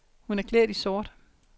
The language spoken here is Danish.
Hun er klædt i sort.